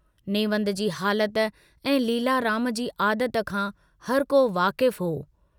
नेवंद जी हालत ऐं लीलाराम जी आदत खां हरको वाफिक हो।